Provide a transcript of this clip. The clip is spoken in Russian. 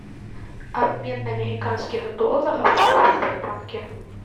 обмен американских долларов в сбербанке